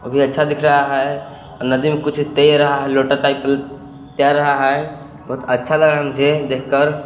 अच्छा दिख रहा है नदी में कुछ तेर रहा है लोटा टाइप का तैर रहा है बहुत अच्छा लग रहा है मुझे देख कर।